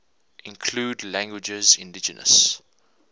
include languages indigenous